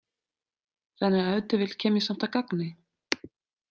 Þannig að ef til vill kem ég samt að gagni.